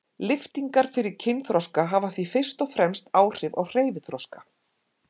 Lyftingar fyrir kynþroska hafa því fyrst og fremst áhrif á hreyfiþroska.